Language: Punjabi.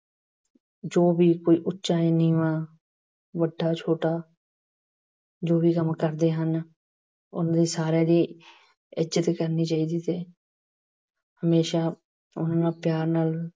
ਜੋ ਵੀ ਕੋਈ ਉਚਾ ਜਾਂ ਨੀਵਾਂ, ਵੱਡਾ- ਛੋਟਾ, ਜੋ ਵੀ ਕੰਮ ਕਰਦੇ ਹਨ। ਉਹਨਾਂ ਸਾਰੀਆਂ ਦੀ ਇੱਜਤ ਕਰਨੀ ਚਾਹੀਦੀ ਹੈ। ਹਮੇਸ਼ਾ ਉਹਨਾਂ ਪਿਆਰ ਨਾਲ